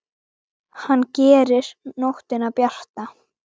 Hann gerir nóttina bjarta.